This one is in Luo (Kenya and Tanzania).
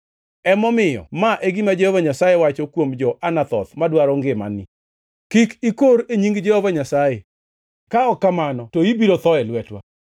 “Emomiyo ma e gima Jehova Nyasaye wacho kuom jo-Anathoth madwaro ngimani, ‘Kik ikor e nying Jehova Nyasaye ka ok kamano to ibiro tho e lwetwa.’